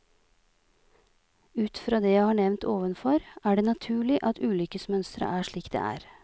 Ut fra det jeg har nevnt ovenfor, er det naturlig at ulykkesmønsteret er slik det er.